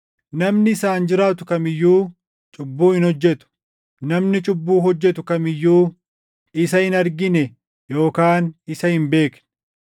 Namni isaan jiraatu kam iyyuu cubbuu hin hojjetu. Namni cubbuu hojjetu kam iyyuu isa hin argine yookaan isa hin beekne.